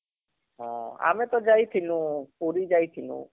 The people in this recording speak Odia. ହଁ ଆମେ ତ ଯାଇଥିନୁ, ପୁରୀ ଯାଇଥିନୁ